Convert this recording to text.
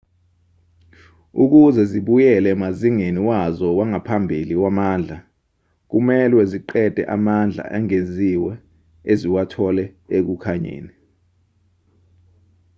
ukuze zibuyele emazingeni wazo wangaphambili wamandla kumelwe ziqede amandla engeziwe eziwathole ekukhanyeni